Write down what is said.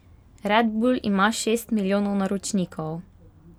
Red bull ima šest milijonov naročnikov.